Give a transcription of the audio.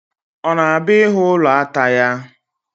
Ọ na-abịa ịhụ ụlọ ata ya?